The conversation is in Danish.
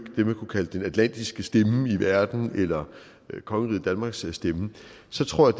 det man kunne kalde den atlantiske stemme i verden eller kongeriget danmarks stemme så tror